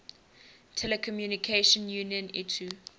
telecommunication union itu